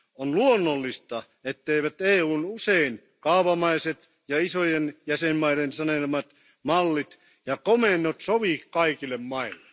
On luonnollista, etteivät EUn usein kaavamaiset ja isojen jäsenmaiden sanelemat mallit ja komennot sovi kaikille maille.